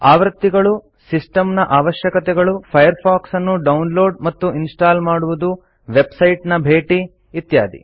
ಆವೃತ್ತಿಗಳು system ನ ಅವಶ್ಯಕತೆಗಳು Firefox ಅನ್ನು ಡೌನ್ಲೋಡ್ ಮತ್ತು ಇನ್ಸ್ಟಾಲ್ ಮಾಡುವುದು ವೆಬ್ಸೈಟ್ ನ ಭೇಟಿ ಇತ್ಯಾದಿ